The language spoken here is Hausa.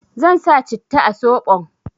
Zan sa citta a soɓon